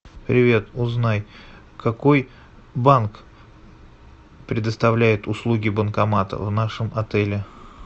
привет узнай какой банк предоставляет услуги банкомата в нашем отеле